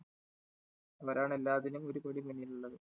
അവരാണ് എല്ലാത്തിനും ഒരുപടി മുന്നിലുള്ളത്.